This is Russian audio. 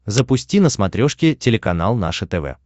запусти на смотрешке телеканал наше тв